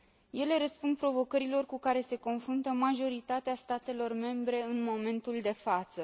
Ele răspund provocărilor cu care se confruntă majoritatea statelor membre în momentul de față.